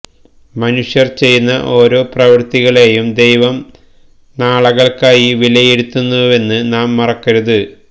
മനുഷ്യര് ചെയ്യുന്ന ഓരോ പ്രവർത്തികളെയും ദൈവം നാളകൾക്കായി വിലയിരുത്തുന്നുവെന്ന് നാം മറക്കരുത്